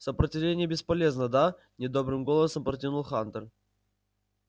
сопротивление бесполезно да недобрым голосом протянул хантер